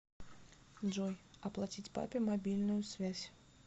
джой оплатить папе мобильную связь